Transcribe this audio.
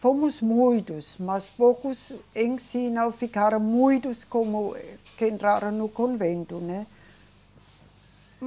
Fomos muitos, mas poucos em si não ficaram muitos como que entraram no convento, né?